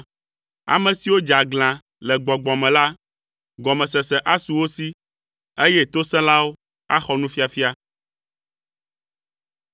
Ame siwo dze aglã le gbɔgbɔ me la, gɔmesese asu wo si, eye tosẽlawo axɔ nufiafia.”